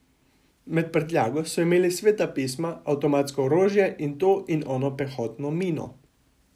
Med prtljago so imeli sveta pisma, avtomatsko orožje in to in ono pehotno mino.